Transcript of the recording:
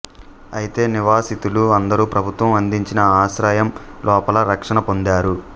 అయితే నివాసితులు అందరూ ప్రభుత్వం అందించిన ఆశ్రయం లోపల రక్షణ పొందారు